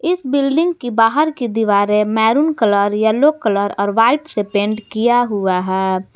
इस बिल्डिंग के बाहर की दीवारें मैरून कलर येलो कलर और व्हाइट से पेंट किया हुआ है।